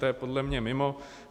To je podle mě mimo.